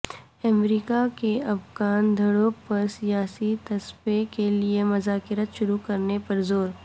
امریکہ کا افغان دھڑوں پر سیاسی تصفیے کے لیے مذاکرات شروع کرنے پر زور